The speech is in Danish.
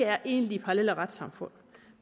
er egentlige parallelle retssamfund